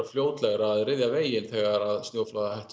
fljótlegra að ryðja veginn þegar snjóflóðahættu